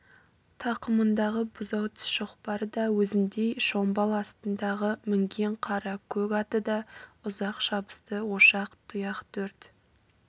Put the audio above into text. тақымындағы бұзау тіс шоқпары да өзіндей шомбал астындағы мінген қара көк аты да ұзақ шабысты ошақ тұяқ төрт